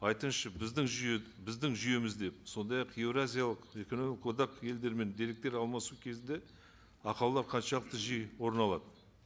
айтыңызшы біздің жүйе біздің жүйемізде сондай ақ еуразиялық экономикалық одақ елдерімен деректер алмасу кезінде ақаулар қаншалықты жиі орын алады